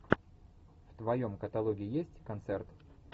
в твоем каталоге есть концерт